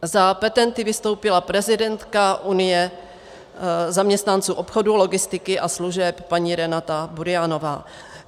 Za petenty vystoupila prezidentka Unie zaměstnanců obchodu, logistiky a služeb paní Renáta Burianová.